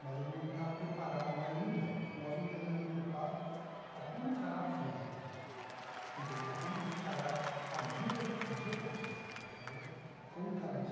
mas ele não está preparado ainda, nós não temos ainda o preparo para como encarar a fama, entendeu, como encarar a vida de artista, entendeu, como encarar isso.